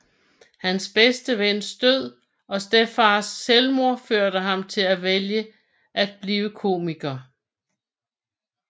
Hans bedste vens død og stedfars selvmord førte ham til at vælge at blive komiker